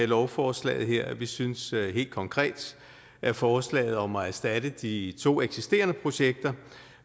lovforslaget her vi synes helt konkret at forslaget om at erstatte de to eksisterende projekter